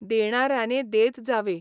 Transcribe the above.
देणाऱ्याने देत जावे